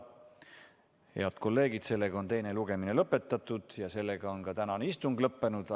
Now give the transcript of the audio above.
Head kolleegid, sellega on teine lugemine lõpetatud ja sellega on ka tänane istung lõppenud.